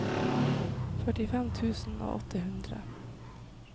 førtifem tusen og åtte hundre